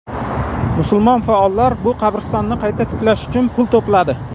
Musulmon faollar bu qabristonni qayta tiklash uchun pul to‘pladi.